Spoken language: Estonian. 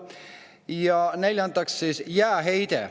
Ja neljandaks, jääheide.